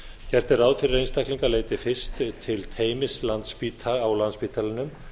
gert er ráð fyrir að einstaklingar leiti fyrst til teymis á landspítalanum